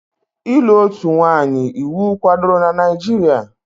Ịlụ otu nwanyị iwu kwadoro na Naijiria?